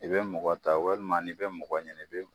I bɛ mɔgɔ ta walima n' bɛ mɔgɔ ɲini i bɛ.